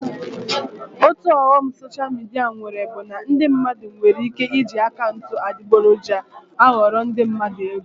Otu ọghọm soshal midia nwere bụ na ndị mmadụ nwere ike iji akaụntụ adịgboroja aghọrọ ndị mmadụ ego